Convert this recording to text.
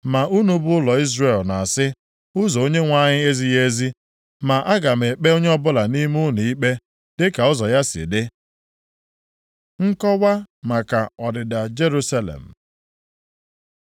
Ma unu bụ ụlọ Izrel na-asị, ‘Ụzọ Onyenwe anyị ezighị ezi.’ Ma aga m ekpe onye ọbụla nʼime unu ikpe dịka ụzọ ya si dị.” Nkọwa maka ọdịda Jerusalem